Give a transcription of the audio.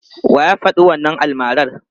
Wa ya faɗi wannan almarar?